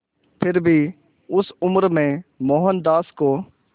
फिर भी उस उम्र में मोहनदास को